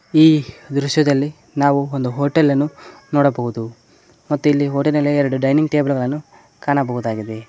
ಈ ದೃಶ್ಯದಲ್ಲಿ ನಾವು ಒಂದು ಹೋಟೆಲನ್ನು ನೋಡಬಹುದು ಮತ್ತೆ ಇಲ್ಲಿ ಹೋಟೆಲಲ್ಲೇ ಎರಡು ಡೈನಿಂಗ್ ಟೇಬಲ್ ಗಳನ್ನು ಕಾಣಬಹುದಾಗಿದೆ.